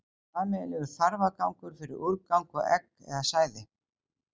hún er sameiginlegur þarfagangur fyrir úrgang og egg eða sæði